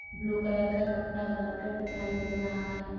Blue colour का कपडा बांधकर दिखाई दे रहा है।